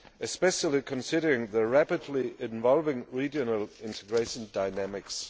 especially considering the rapidly evolving regional integration dynamics.